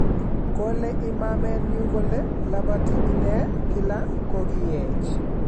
Kole imamenyu kole labati inne kila kokiech